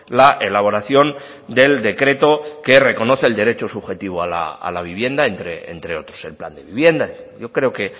la elaboración del decreto que reconoce el derecho subjetivo a la vivienda entre otros el plan de vivienda yo creo que